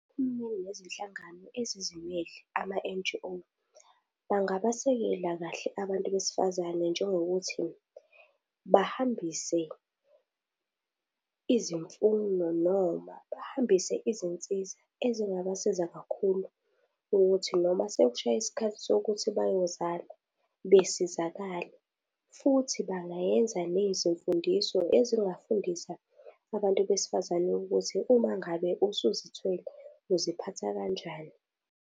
Uhulumeni kanye nezinhlangano ezizimele, ama-N_G_O bangabasekela kahle abantu besifazane njengokuthi bahambise izimfuno noma bahambise izinsiza ezingabasiza kakhulu ukuthi noma sekushaya isikhathi sokuthi bayozala besizakale, futhi bangayenza nezimfundiso ezingafundisa abantu besifazane ukuthi uma ngabe usuzithwele uziphatha kanjani.